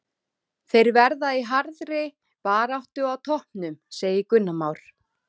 Þeir verða í harðri baráttu á toppnum, segir Gunnar Már.